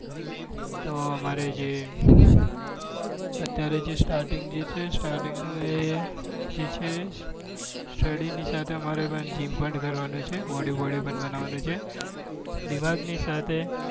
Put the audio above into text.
તો અમારે અત્યારે જે stating છે starting એ નો એ જે છે study ની સાથે અમારે gym પણ કરવાનું છે. બોડી બોડી પણ બનાવવાની છે. દિમાગની સાથે